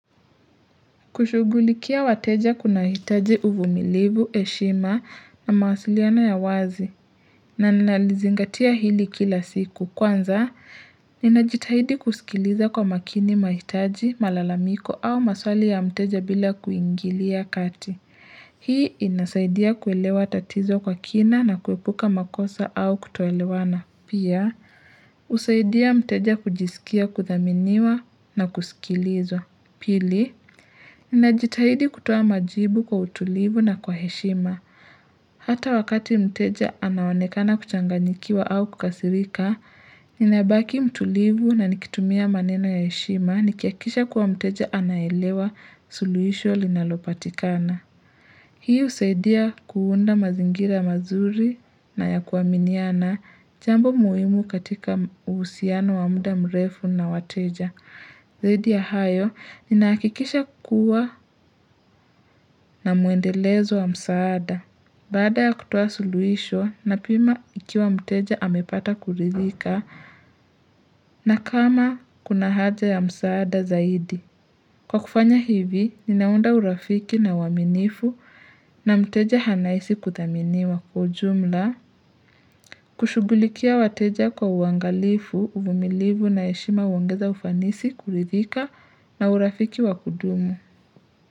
Kushughulikia wateja kuna hitaji uvumilivu, heshima na mawasiliano ya wazi na nalizingatia hili kila siku. Kwanza, ninajitahidi kusikiliza kwa makini mahitaji, malalamiko au maswali ya mteja bila kuingilia kati. Hii inasaidia kuelewa tatizo kwa kina na kuepuka makosa au kutoelewana. Pia, husaidia mteja kujisikia kuthaminiwa na kusikilizwa. Pili, ninajitahidi kutoa majibu kwa utulivu na kwa heshima. Hata wakati mteja anaonekana kuchanganyikiwa au kukasirika, ninabaki mtulivu na nikitumia maneno ya heshima, nikihakikisha kuwa mteja anaelewa suluisho linalopatikana. Hii husaidia kuunda mazingira mazuri na ya kuaminiana jambo muhimu katika uhusiano wa muda mrefu na wateja. Zaidi ya hayo, ninahakikisha kuwa na muendelezo wa msaada. Baada ya kutuoa suluhisho, napima ikiwa mteja amepata kuridhika na kama kuna haja ya msaada zaidi. Kwa kufanya hivi, ninaunda urafiki na uaminifu na mteja anaisi kuthaminiwa kwa ujumla, kushughulikia wateja kwa uangalifu, uvumilivu na heshima uangeza ufanisi, kuridhika na urafiki wa kudumu.